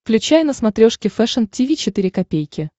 включай на смотрешке фэшн ти ви четыре ка